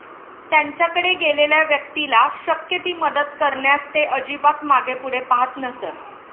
त्यांच्याकडे गेलेल्या व्यक्तीला शक्य ती मदत करण्यास ते अजिबात मागेपुढे पाहत नसत.